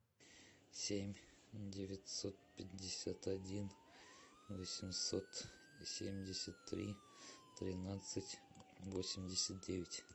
семь девятьсот пятьдесят один восемьсот семьдесят три тринадцать восемьдесят девять